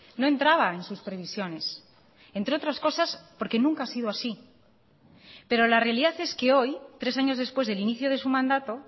no entraba en sus previsiones entre otras cosas porque nunca ha sido así perola realidad es que hoy tres años después del inicio de su mandato